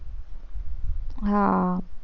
હમ